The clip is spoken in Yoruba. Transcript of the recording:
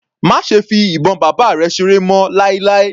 Má ṣe fi ìbọn bàbá rẹ̀ seré mọ́ láíláí.